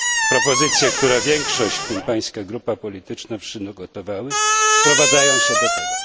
Propozycje, które większość, w tym Pańska grupa polityczna, przygotowała, sprowadzają się do tego.